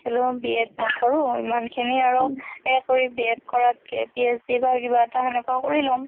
B.ED নকৰো। ইমানখিনি আৰু সেই কৰি B.ED কৰাতকে PhD বা কিবা এটা খেনেকুৱা কৰি লম।